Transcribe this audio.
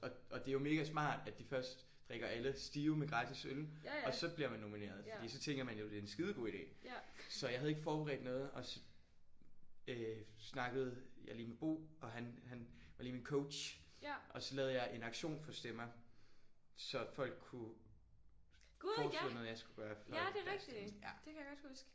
Og og det er jo mega smart at de først drikker alle stive med gratis øl og så bliver man nomineret fordi så tænker man jo det er en skidegod idé. Så jeg havde ikke forberedt noget og så øh snakkede jeg lige med Bo og han han var lige min coach og så lavede jeg en auktion for stemmer så folk kunne forslå noget jeg skulle gøre for deres stemme